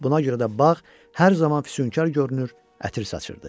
Buna görə də bağ hər zaman füsunkar görünür, ətir saçırdı.